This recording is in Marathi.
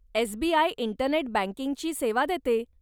एसबीआय इंटरनेट बँकिंगची सेवा देते.